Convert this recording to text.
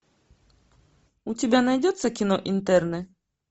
у тебя найдется кино интерны